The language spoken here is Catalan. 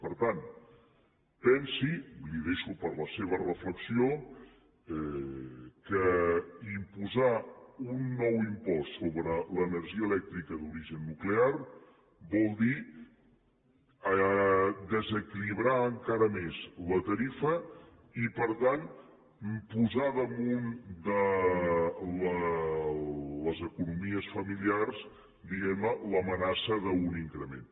per tant pensi li ho deixo per a la seva reflexió que imposar un nou impost sobre l’energia elèctrica d’origen nuclear vol dir desequilibrar encara més la tarifa i per tant posar damunt de les economies familiars diguem ne l’amenaça d’un increment